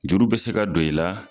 Juru bɛ se ka don i la